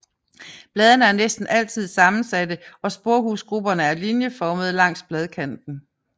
Bladene er næsten altid sammensatte og sporehusgrupperne er linjeformede langs bladkanten